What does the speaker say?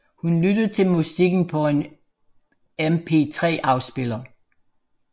Hun lytter til musikken på en mp3 afspiller